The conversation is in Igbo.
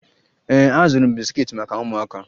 Ee azụrụ m bisikiiti maka ụmụaka